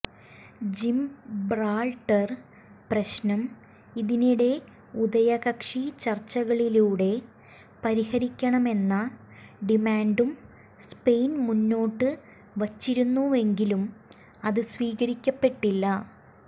Gibraltar പ്രശ്നം ഇതിനിടെ ഉഭയകക്ഷി ചർച്ചകളിലൂടെ പരിഹരിക്കണമെന്ന ഡിമാന്റും സ്പെയിൻ മുന്നോട്ട് വച്ചിരുന്നുവെങ്കിലും അത് സ്വീകരിക്കപ്പെട്ടില്ല